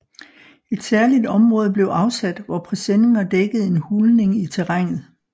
Et særligt område blev afsat hvor presenninger dækkede en hulning i terrænet